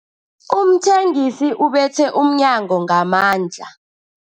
Umthengisi ubethe umnyango ngamandla.